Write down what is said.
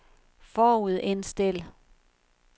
forudindstil